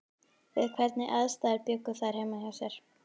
Við hvernig aðstæður bjuggu þær heima hjá sér?